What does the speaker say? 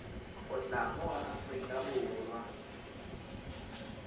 go tla mo aforika borwa